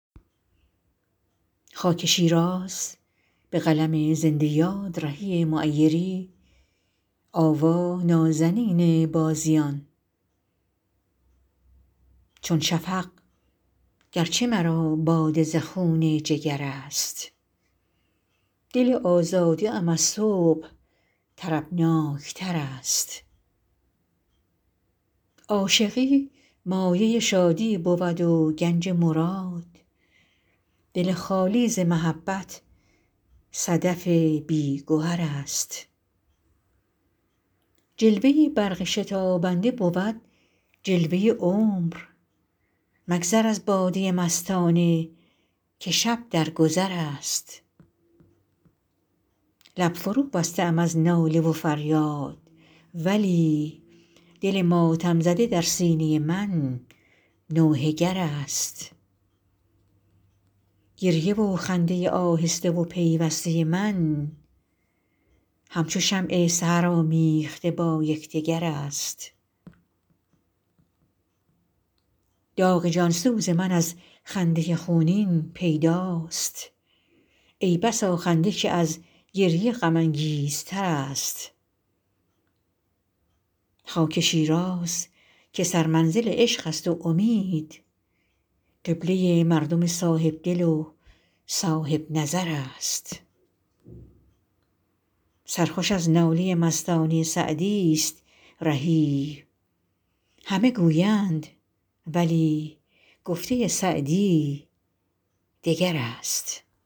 چون شفق گرچه مرا باده ز خون جگر است دل آزاده ام از صبح طربناک تر است عاشقی مایه شادی بود و گنج مراد دل خالی ز محبت صدف بی گهر است جلوه برق شتابنده بود جلوه عمر مگذر از باده مستانه که شب در گذر است لب فروبسته ام از ناله و فریاد ولی دل ماتم زده در سینه من نوحه گر است گریه و خنده آهسته و پیوسته من هم چو شمع سحر آمیخته با یکدگر است داغ جان سوز من از خنده خونین پیداست ای بسا خنده که از گریه غم انگیزتر است خاک شیراز که سرمنزل عشق است و امید قبله مردم صاحب دل و صاحب نظر است سرخوش از ناله مستانه سعدی است رهی همه گویند ولی گفته سعدی دگر است